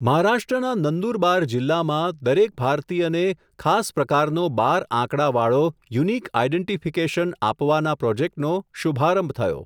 મહારાષ્ટ્રના નંદુરબાર જિલ્લામાં, દરેક ભારતીયને ખાસ પ્રકારનો બાર આંકડાવાળો, યુનિક આઇડેન્ટિફિકેશન આપવાના પ્રોજેક્ટનો, શુભારંભ થયો.